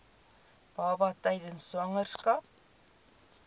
baba tydens swangerskap